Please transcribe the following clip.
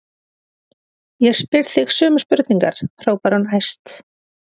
Ég spyr þig sömu spurningar, hrópar hún æst.